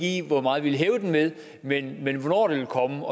i ikke hvor meget vi vil hæve den med men men hvornår det vil komme